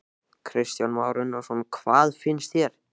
Kristján Már Unnarsson: Hvað finnst þér?